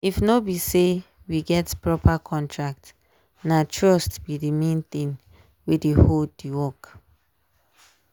if no be say we get proper contract na trust be the main thing wey dey hold the work.